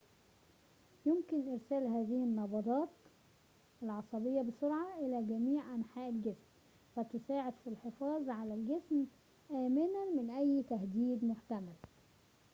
يمكن إرسال هذه النبضات العصبية بسرعة في جميع أنحاء الجسم فتساعد في الحفاظ على الجسم آمنًا من أي تهديد محتمل